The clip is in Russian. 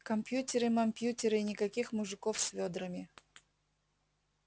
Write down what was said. компьютеры-мампьютеры и никаких мужиков с вёдрами